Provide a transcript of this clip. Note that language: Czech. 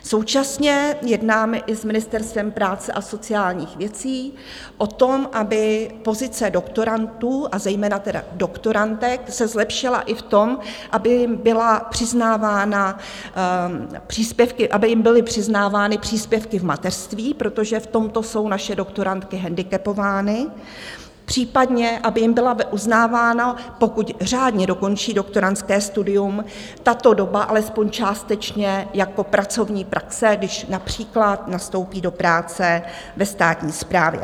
Současně jednáme i s Ministerstvem práce a sociálních věcí o tom, aby pozice doktorandů, a zejména tedy doktorandek, se zlepšila i v tom, aby jim byly přiznávány příspěvky v mateřství, protože v tomto jsou naše doktorandky hendikepovány, případně aby jim byla uznávána, pokud řádně dokončí doktorandské studium, tato doba alespoň částečně jako pracovní praxe, když například nastoupí do práce ve státní správě.